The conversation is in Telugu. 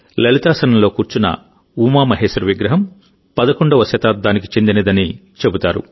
లలితాసనంలో కూర్చున్న ఉమామహేశ్వర విగ్రహం 11వ శతాబ్దానికి చెందినదని చెబుతారు